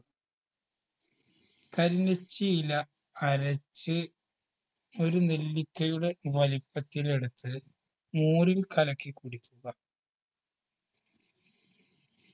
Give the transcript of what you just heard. കരിനിച്ചിയില അരച്ച് ഒരു നെല്ലിക്കയുടെ വലിപ്പത്തിലെടുത്ത് മോരിൽ കലക്കി കുടിക്കുക